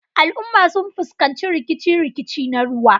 Al'umma sun fuskanci rikice-rikice na ruwa.